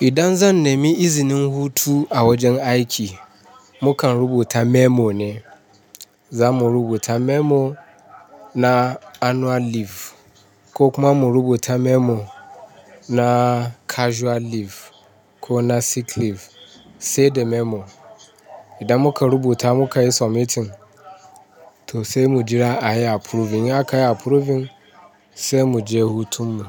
Idan zan nemi izinin hutu a wajen aiki, mukan rubuta memo ne. Zamu rubuta memo na annual leave ko kuma mu rubuta memo na casual leave ko na sick leave, sai da memo. Idan muka rubuta mukayi submitting to sai mu jira a yi approve. In ya kai approving sai mu je hutun mu.